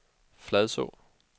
Fladså